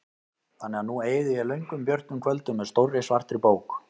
Þannig að nú eyði ég löngum björtum kvöldum með stórri svartri bók.